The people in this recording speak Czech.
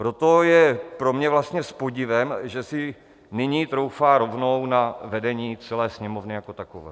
Proto je pro mě vlastně s podivem, že si nyní troufá rovnou na vedení celé Sněmovny jako takové.